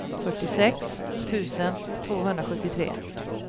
fyrtiosex tusen tvåhundrasjuttiotre